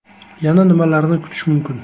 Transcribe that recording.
Yana nimalarni kutish mumkin?